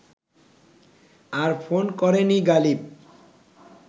আর phone করেনি গালিব